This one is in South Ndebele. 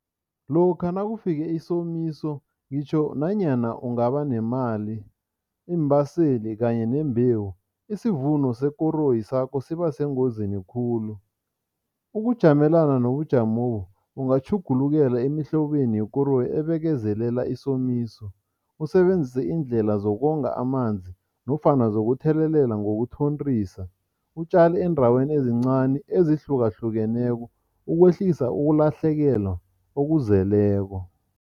Lokha nakufike isomiso ngitjho nanyana ungaba nemali, iimbaseli kanye nembewu, isivuno sekoroyi sakho sibasengozini khulu. Ukujamelana nobujamobu, ungatjhugulukela emihlobeni yekoroyi ebekezelela isomiso, usebenzise iindlela zokonga amanzi nofana zokuthelelela ngokuthontisa, utjale eendaweni ezincani ezihlukahlukeneko ukwehlisa ukulahlekelwa okuzeleko.